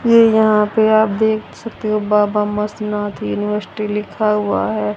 ये यहां पर आप देख सकते हो बाबा मस्तनाथ यूनिवर्सिटी लिखा हुआ है।